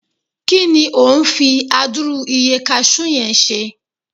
ki ni o n fi aduru iye cashew yen ṣe